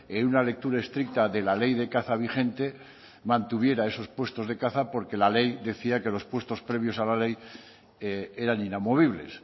en una lectura estricta de la ley de caza vigente mantuviera esos puestos de caza porque la ley decía que los puestos previos a la ley eran inamovibles